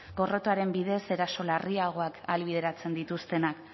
gorrotoaren bidez eraso larriagoak ahalbideratzen dituztenak